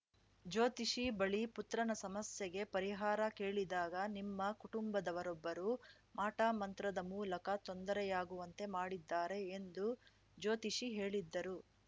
ಜ್ಯೋತಿಷಿ ಬಳಿ ಪುತ್ರನ ಸಮಸ್ಯೆಗೆ ಪರಿಹಾರ ಕೇಳಿದಾಗ ನಿಮ್ಮ ಕುಟುಂಬದವರೊಬ್ಬರು ಮಾಟಮಂತ್ರದ ಮೂಲಕ ತೊಂದರೆಯಾಗುವಂತೆ ಮಾಡಿದ್ದಾರೆ ಎಂದು ಜ್ಯೋತಿಷಿ ಹೇಳಿದ್ದರು